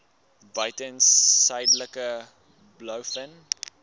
buiten suidelike blouvin